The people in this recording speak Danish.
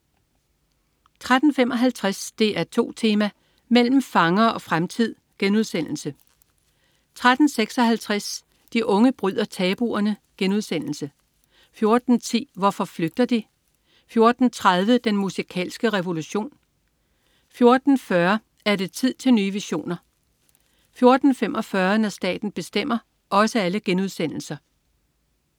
13.55 DR2 Tema: Mellem fangere og fremtid* 13.56 De unge bryder tabuerne* 14.10 Hvorfor flygter de?* 14.30 Den musikalske revolution* 14.40 Er det tid til nye visioner?* 14.45 Når staten bestemmer*